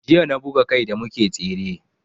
Jiya na buga kai da muke tsere